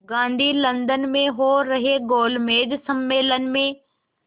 Gandhi London में हो रहे गोलमेज़ सम्मेलन में